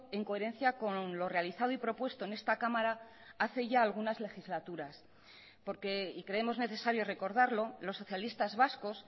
en coherencia con lo realizado y propuesto en esta cámara hace ya algunas legislaturas porque y creemos necesario recordarlo los socialistas vascos